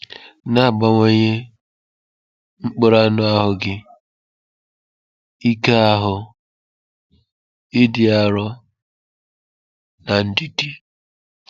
Na-abawanye mkpụrụ anụ ahụ gị, ike ahụ, ịdị arọ, na ndidi.